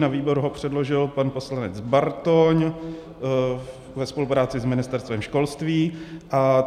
Na výbor ho předložil pan poslanec Bartoň ve spolupráci s Ministerstvem školství.